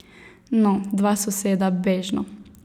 No, dva soseda, bežno.